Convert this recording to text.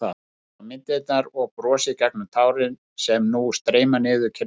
Ég horfi á myndirnar og brosi gegnum tárin sem nú streyma niður kinnarnar.